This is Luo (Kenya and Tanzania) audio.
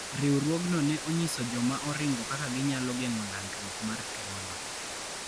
Riwruogno ne onyiso joma oringo kaka ginyalo geng'o landruok mar tuono.